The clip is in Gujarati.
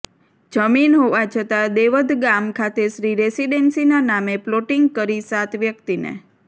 જમીન હોવા છતાં દેવધ ગામ ખાતે શ્રી રેસીડેન્સીના નામે પ્લોટીંગ કરી સાત વ્યક્તિને